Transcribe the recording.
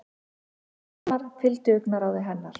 Valdimar fylgdi augnaráði hennar.